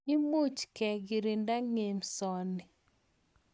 Imuch ke kirinda ng'emso ni.